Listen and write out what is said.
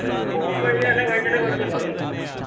പോപ്പോ ഇനി എല്ലാം കഴിച്ചിട്ട് അങ് കൊടുത്ത്